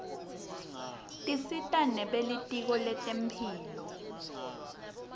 tisita nebelitko lentemphilo